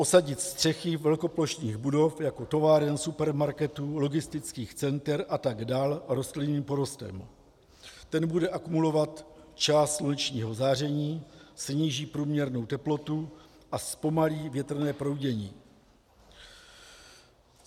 Osadit střechy velkoplošných budov, jako továren, supermarketů, logistických center atd., rostlinným porostem, který bude akumulovat část slunečního záření, sníží průměrnou teplotu a zpomalí větrné proudění.